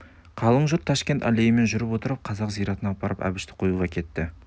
қалың жұрт ташкент аллейімен жүріп отырып қазақ зиратына апарып әбішті қоюға кетті